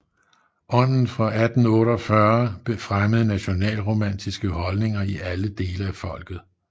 Ånden fra 1848 fremmede nationalromantiske holdninger i alle dele af folket